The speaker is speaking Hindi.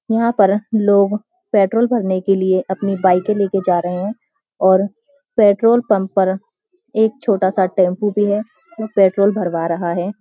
यहाँ पर लोग पेट्रोल भरने के लिए अपनी बाईके लेके जा रहे हैं और पेट्रोल पंप पर एक छोटा-सा टेम्‍पों भी है जो पेट्रोल भरवा रहा है।